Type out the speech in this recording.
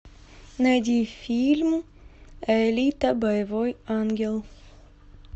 найди фильм алита боевой ангел